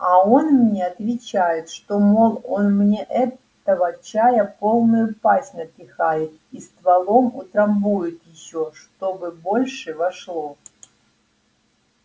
а он мне отвечает что мол он мне этого чая полную пасть напихает и стволом утрамбует ещё чтобы больше вошло